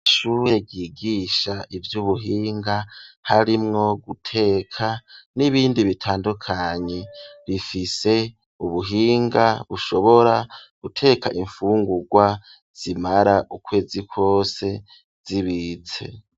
Ishure ryigisha ivyubuhinga harimwo guteka n'ibindi bitandukanye rifise ubuhinga bushobora guteka imfungurwa zimara ukwezi kose zibitse.